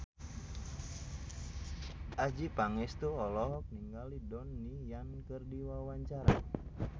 Adjie Pangestu olohok ningali Donnie Yan keur diwawancara